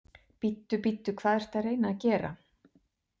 Bíddu, bíddu, hvað ertu að reyna að gera!